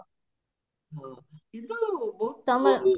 କିନ୍ତୁ ବହୁତ